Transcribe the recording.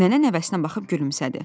Nənə nəvəsinə baxıb gülümsədi.